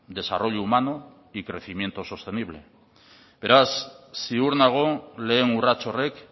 desarrollo humano y crecimiento sostenible beraz ziur nago lehen urrats horrek